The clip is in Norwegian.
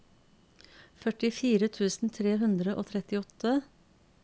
førtifire tusen tre hundre og trettiåtte